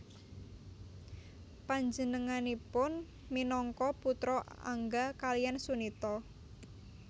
Panjenenganipun minangka putra Angga kaliyan Sunita